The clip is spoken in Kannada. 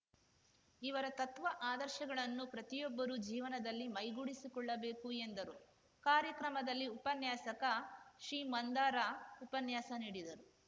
ಇವರ ತತ್ವ ಆದರ್ಶಗಳನ್ನು ಪ್ರತಿಯೊಬ್ಬರೂ ಜೀವನದಲ್ಲಿ ಮೈಗೂಡಿಸಿಕೊಳ್ಳಬೇಕು ಎಂದರು ಕಾರ್ಯಕ್ರಮದಲ್ಲಿ ಉಪನ್ಯಾಸಕ ಶ್ರೀ ಮಂದಾರ ಉಪನ್ಯಾಸ ನೀಡಿದರು